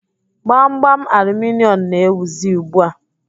Gbamgbam aluminịọmụ na-ewuzi ugbu a.